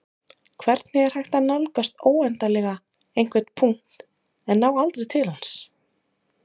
hvernig er hægt að nálgast óendanlega einhvern punkt en ná aldrei til hans